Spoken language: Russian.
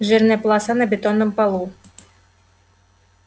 жирная полоса на бетонном полу